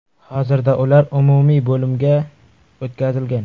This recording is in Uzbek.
Hozirda ular umumiy bo‘limga o‘tkazilgan.